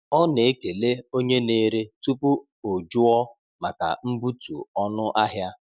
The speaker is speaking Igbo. Ọ na-ekele onye na-ere tupu o jụọ maka mbutu ọnụ ahịa.